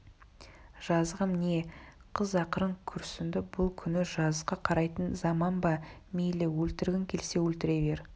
жазығым не қыз ақырын күрсінді бұл күні жазыққа қарайтын заман ба мейлі өлтіргің келсе өлтіре бер